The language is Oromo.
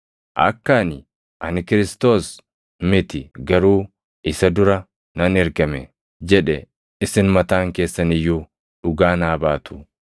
Akka ani, ‘Ani Kiristoos + 3:28 yookaan Masiihicha miti; garuu isa dura nan ergame’ jedhe isin mataan keessan iyyuu dhugaa naa baatu.